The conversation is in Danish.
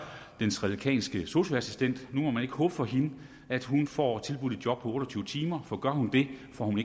den srilankanske sosu assistent nu må man ikke håbe for hende at hun får tilbudt et job på otte og tyve timer for gør hun det får hun